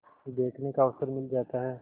देखने का अवसर मिल जाता है